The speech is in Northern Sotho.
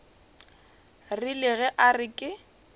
rile ge a re ke